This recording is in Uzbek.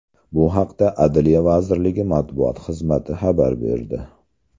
Bu haqda Adliya vaziriligi matbuot xizmati xabar berdi .